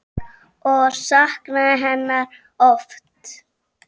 Og saknaði hennar oft.